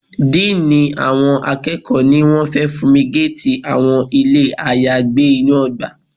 Dean àwọn akẹ́kọ̀ọ́ ní wọ́n fẹ́ funmigate àwọn ilé ayagbé inú ọgbà.